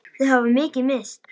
Þau hafa mikið misst.